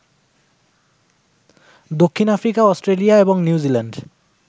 দক্ষিণ Africa, Australia এবং New Zealand